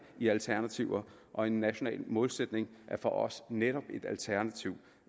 i alternativer og en national målsætning er for os netop et alternativ